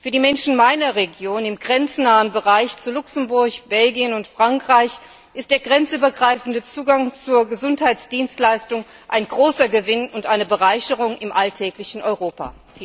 Für die Menschen meiner Region im grenznahen Bereich zu Luxemburg, Belgien und Frankreich ist der grenzübergreifende Zugang zu Gesundheitsdienstleistungen ein großer Gewinn und eine Bereicherung im alltäglichen Europa.